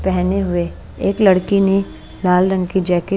पहने हुए एक लड़की ने लाल रंग की जैकेट --